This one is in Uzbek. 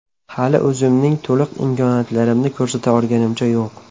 Hali o‘zimning to‘liq imkoniyatlarimni ko‘rsata olganimcha yo‘q.